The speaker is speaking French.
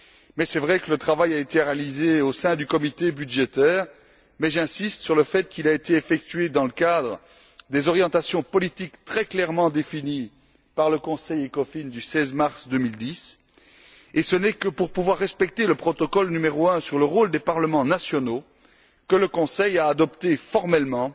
Il est vrai que le travail a été réalisé au sein du comité budgétaire, mais j'insiste sur le fait qu'il a été effectué dans le cadre des orientations politiques très clairement définies par le Conseil ECOFIN du 16 mars 2010 et ce n'est que pour pouvoir respecter le protocole n° 1 sur le rôle des parlements nationaux que le Conseil a adopté formellement